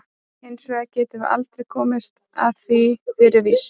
Hins vegar getum við aldrei komist að því fyrir víst.